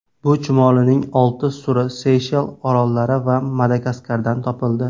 Bu chumolining olti turi Seyshel orollari va Madagaskardan topildi.